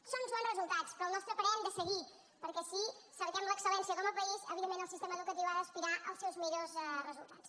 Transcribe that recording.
són uns bons resultats però al nostre parer hem de seguir perquè si cerquem l’excel·lència com a país evidentment el sistema educatiu ha d’aspirar als seus millors resultats